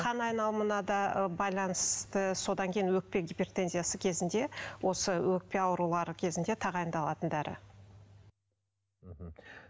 қан айналымына да байланысты содан кейін өкпе гипертензиясы кезінде осы өкпе аурулары кезінде тағайындалатын дәрі мхм